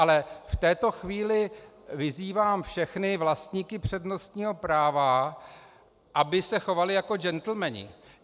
Ale v této chvíli vyzývám všechny vlastníky přednostního práva, aby se chovali jako džentlmeni.